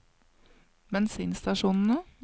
bensinstasjonene